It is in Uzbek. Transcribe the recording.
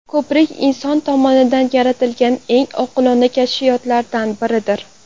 Ko‘prik inson tomonidan yaratilgan eng oqilona kashfiyotlardan biridir.